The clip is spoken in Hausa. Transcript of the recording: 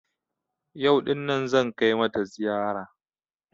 Yau ɗin nan zan kai mata ziyara